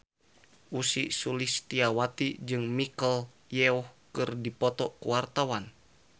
Ussy Sulistyawati jeung Michelle Yeoh keur dipoto ku wartawan